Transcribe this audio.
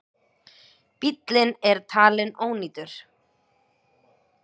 Bíllinn er talin ónýtur.